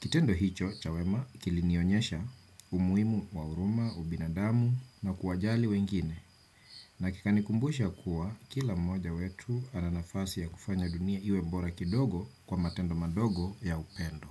Kitendo hicho cha wema kilinionyesha umuimu wa uruma, ubinadamu na kuwajali wengine. Na kikanikumbusha kuwa kila mmoja wetu ana nafasi ya kufanya dunia iwe bora kidogo kwa matendo madogo ya upendo.